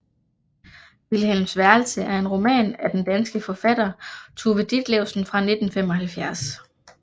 Vilhelms værelse er en roman af den danske forfatter Tove Ditlevsen fra 1975